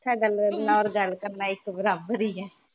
ਹਾਡਾ ਗੱਲ ਕਰਨਾ ਨਾ ਓਰ ਗੱਲ ਕਰਨਾ ਇਕ ਬਰਾਬਰ ਈ ਏ